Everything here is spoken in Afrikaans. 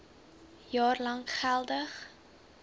jaar lank geldig